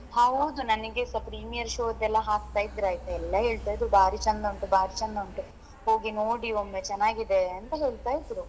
ಹೌದು ನನಗೆ ಸ premier show ಎಲ್ಲಾ ಹಾಕ್ತಾ ಇದ್ರು ಆಯ್ತಾ ಎಲ್ಲಾ ಹೇಳ್ತಾ ಇದ್ರೂ ಬಾರಿ ಚಂದ ಉಂಟು ಬಾರಿ ಚಂದ ಉಂಟು ಹೋಗಿ ನೋಡಿ ಒಮ್ಮೆ ಚನಾಗಿದೆ ಅಂತ ಹೇಳ್ತಾ ಇದ್ರು.